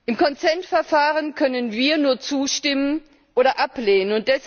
Im Consent Verfahren können wir nur zustimmen oder ablehnen.